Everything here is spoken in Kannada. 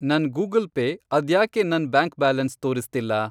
ನನ್ ಗೂಗಲ್ ಪೇ ಅದ್ಯಾಕೆ ನನ್ ಬ್ಯಾಂಕ್ ಬ್ಯಾಲೆನ್ಸ್ ತೋರಿಸ್ತಿಲ್ಲ?